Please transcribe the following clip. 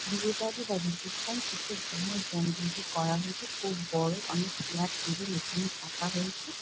বিয়ে বাড়ি বা রিসেপশন করা হয়েছে খুব বড় অনেক চেয়ার টেবিল এইখানে পাতা হয়েছে।